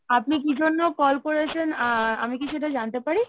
আপনি কি জন্য call করেছেন? আ আমি কি সেটা জানতে পারি?